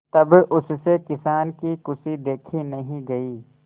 तब उससे किसान की खुशी देखी नहीं गई